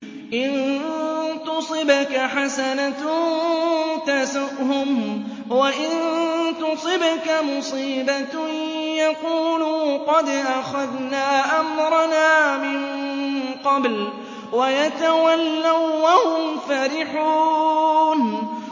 إِن تُصِبْكَ حَسَنَةٌ تَسُؤْهُمْ ۖ وَإِن تُصِبْكَ مُصِيبَةٌ يَقُولُوا قَدْ أَخَذْنَا أَمْرَنَا مِن قَبْلُ وَيَتَوَلَّوا وَّهُمْ فَرِحُونَ